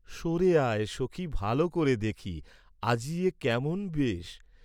স’রে আয়, সখি ভাল করে দেখি, আজি এ কেমন বেশ!